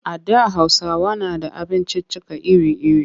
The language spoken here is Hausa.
A da Hausawa na da abinciccika iri-iri.